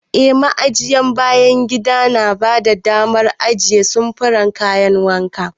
Eh, Ma'ajiyar bayan gida tana ba da damar ajiye samfuran kayan wanka.